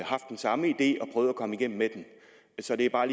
haft den samme idé og prøvet at komme igennem med den så det er bare